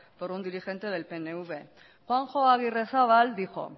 por un diligente del pnv juanjo agirrezabala dijo